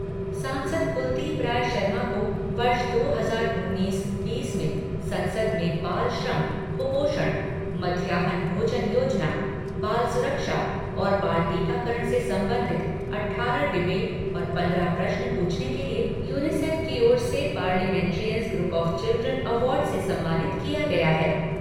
सांसद कुलदीप राय शर्मा को वर्ष दो हजार उन्नीस बीस में संसद में बाल श्रम, कुपोषण, मध्याह्न भोजन योजना, बाल सुरक्षा और बाल टीकाकरण से संबंधित अट्ठारह डीबेट और पन्द्रह प्रश्न पूछने के लिए यूनिसेफ की ओर से parliamentarians group of children award से सम्मानित किया गया है।